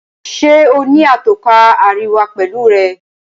Njé o ní Atọ́ka àríwá pẹlú rẹ?